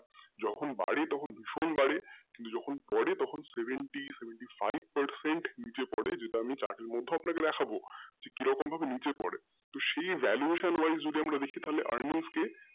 যখন বাড়ে তখন প্রচুর বাড়ে percent কিন্তু যখন পড়ে তখন seventy five percent নীচে পড়ে যেটা আমি chart এ তো আপনাকে দেখাবো তো কীরকম নীচে পড়ে তো সেই valuation wise যদি আমরা দেখি তাহলে earnings কে,